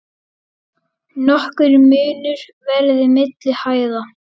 Nokkur munur verði milli hæða.